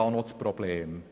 Wo ist das Problem?